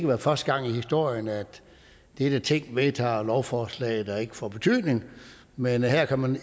være første gang i historien at dette ting vedtager lovforslag der ikke får betydning men her kan man